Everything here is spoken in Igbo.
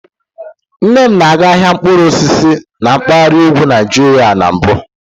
Nne m na-aga ahịa mkpụrụ osisi na mpaghara ugwu Nigeria na mbụ.